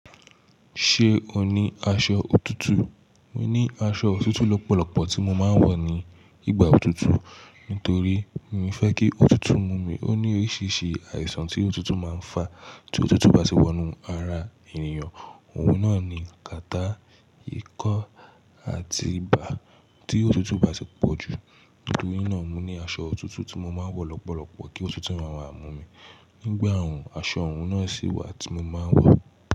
Ṣé o ní aṣọ òtútù? Mo ní aṣọ òtútù lọ́pọ̀lọ́pọ̀ tí mo máa ń wọ̀ ní ìgbà òtútù. Nítorí mi ò fẹ́ kí òtútù mú mi. Ó ní oríṣìíríṣìí àìsàn tí òtútù máa ń fà tí òtútù bá sì wọnú ara ènìyàn. Ohun náà ni, ìkàtá, ikọ́, àti ibà tí òtútù bá sì pọ̀jù. Nítorí náà, mo ní aṣọ òtútù tí mo máa ń wọ̀ lọ́pọ̀lọ́pọ̀ kí òtútù máa bà mú mi. Nígbà òòrùn, aṣọ òòrùn náà sì wà tí mo máa ń wọ̀.